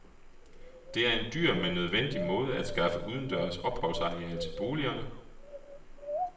Det er en dyr, men nødvendig måde at skaffe udendørs opholdsareal til boligerne.